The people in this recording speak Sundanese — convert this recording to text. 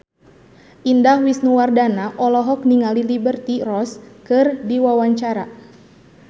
Indah Wisnuwardana olohok ningali Liberty Ross keur diwawancara